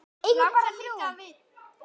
En við eigum bara þrjú.